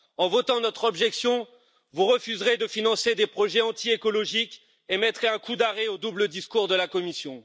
En votant notre objection, vous refuserez de financer des projets anti écologiques et mettrez un coup d'arrêt au double discours de la Commission.